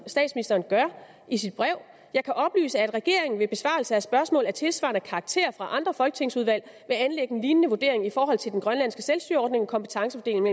statsministeren gør i sit brev jeg kan oplyse at regeringen ved besvarelse af spørgsmål af tilsvarende karakter fra andre folketingsudvalg vil anlægge en lignende vurdering i forhold til den grønlandske selvstyreordning og kompetencefordelingen